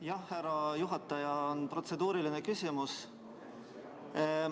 Jah, härra juhataja, on protseduuriline küsimus.